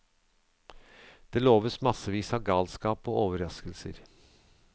Det loves massevis av galskap og overraskelser.